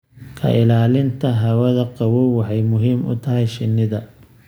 Ka ilaalinta hawada qabow waxay muhiim u tahay shinnida.